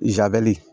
Zabɛli